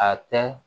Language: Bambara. A tɛ